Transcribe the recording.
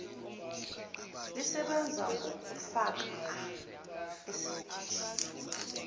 lisebenza ngokufakwa esigujini